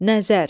Nəzər.